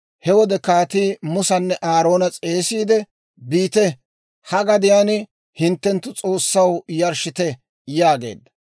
He wode kaatii Musanne Aaroona s'eesissiide, «Biite; ha gadiyaan hinttenttu S'oossaw yarshshite» yaageedda.